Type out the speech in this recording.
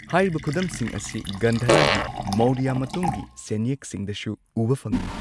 ꯍꯥꯏꯔꯤꯕ ꯈꯨꯗꯝꯁꯤꯡ ꯑꯁꯤ ꯒꯟꯙꯥꯔꯥꯒꯤ ꯃꯧꯔꯤꯌꯥ ꯃꯇꯨꯡꯒꯤ ꯁꯦꯟꯌꯦꯛꯁꯤꯡꯗꯁꯨ ꯎꯕ ꯐꯪꯉꯤ꯫